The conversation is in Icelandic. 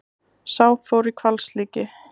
Sá fór í hvalslíki.